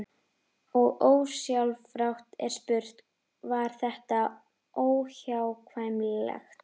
Og ósjálfrátt er spurt: Var þetta óhjákvæmilegt?